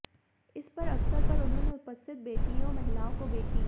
इस पर अवसर पर उन्होंने उपस्थित बेटियों महिलाओं को बेटी